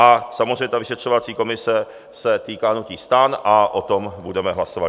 A samozřejmě ta vyšetřovací komise se týká hnutí STAN a o tom budeme hlasovat.